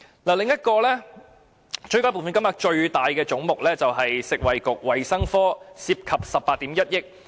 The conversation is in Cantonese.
另一個追加撥款金額最大的總目就是食物及衞生局，涉及18億 1,000 萬元。